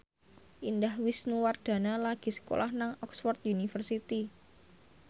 Indah Wisnuwardana lagi sekolah nang Oxford university